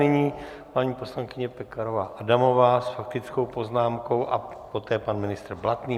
Nyní paní poslankyně Pekarová Adamová s faktickou poznámkou a poté pan ministr Blatný.